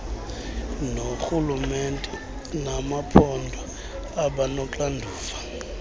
noorhulumente bamaphondo abanoxanduva